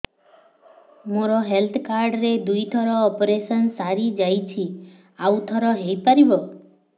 ମୋର health card ରେ ଦୁଇ ଥର ଅପେରସନ ସାରି ଯାଇଛି ଆଉ ଥର ହେଇପାରିବ